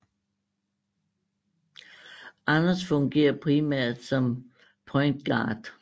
Anders fungerer primært som point guard